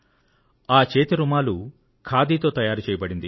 ఆ చేతి రుమాలు ఖాదీతో తయారైనటువంటిది